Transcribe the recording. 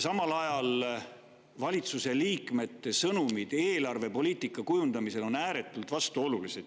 Samal ajal on valitsuse liikmete sõnumid eelarvepoliitika kujundamisel ääretult vastuolulised.